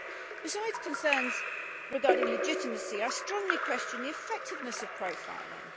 Besides concerns regarding legitimacy, I strongly question the effectiveness of profiling.